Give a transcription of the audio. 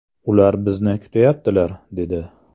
Ular bizni kutayaptilar” dedi.